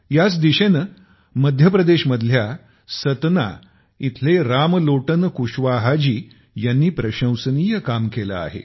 याच दिशेने मध्य प्रदेश मधल्या सतना इथले रामलोटन कुशवाहा जीयांनी प्रशंसनीय काम केले आहे